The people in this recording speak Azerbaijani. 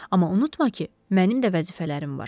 Amma unutma ki, mənim də vəzifələrim var.